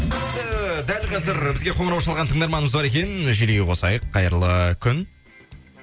ііі дәл қазір бізге қоңырау шалған тыңдарманымыз бар екен желіге қосайық қайырлы күн